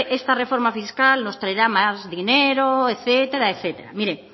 esta reforma fiscal nos traerá más dinero etcétera etcétera mire